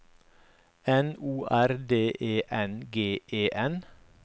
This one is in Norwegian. N O R D E N G E N